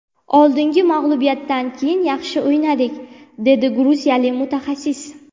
Oldingi mag‘lubiyatdan keyin yaxshi o‘ynadik”, dedi gruziyalik mutaxassis.